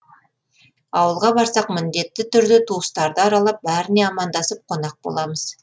ауылға барсақ міндетті түрде туыстарды аралап бәріне амандасып қонақ боламыз